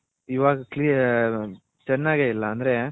ಇವಾಗ ಚೆನ್ನಾಗಿಲ್ಲ ಅಂದ್ರೆ